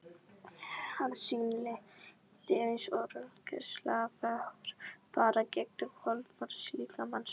að sínu leyti eins og röntgengeislar fara gegnum hold mannslíkamans.